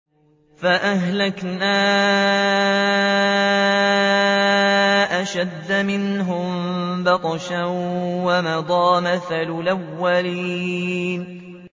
فَأَهْلَكْنَا أَشَدَّ مِنْهُم بَطْشًا وَمَضَىٰ مَثَلُ الْأَوَّلِينَ